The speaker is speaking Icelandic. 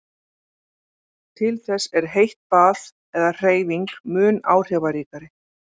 Til þess er heitt bað eða hreyfing mun áhrifaríkari.